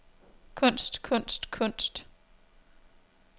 kunst kunst kunst